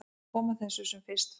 Koma þessu sem fyrst frá.